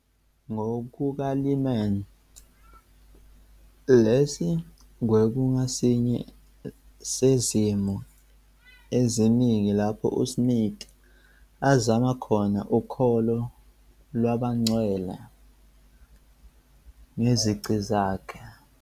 NgokukaLyman, lesi kwakungesinye sezimo eziningi lapho uSmith "azama khona ukholo lwabaNgcwele ngezici zakhe".